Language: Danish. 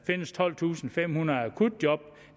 findes tolvtusinde og femhundrede akutjob